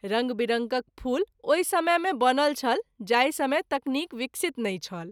रंग विरंगक फूल ओहि समय मे बनल छल जाहि समय तकनीक विकसित नहिं छल।